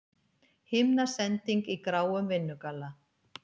Himnasending í gráum vinnugalla.